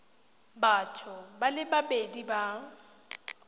batho ba le babedi ba